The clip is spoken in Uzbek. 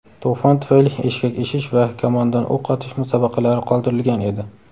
to‘fon tufayli eshkak eshish va kamondan o‘q otish musobaqalari qoldirilgan edi.